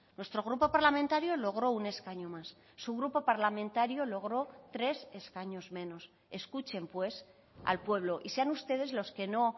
nuestro grupo parlamentario logró un escaño más su grupo parlamentario logró tres escaños menos escuchen pues al pueblo y sean ustedes los que no